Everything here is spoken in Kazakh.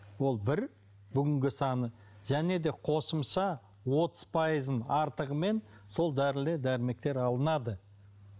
ол бір бүгінгі саны және де қосымша отыз пайызын артығымен сол дәрілер дәрмектер алынады